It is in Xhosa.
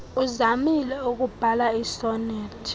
uzamile ukubhaia iisonethi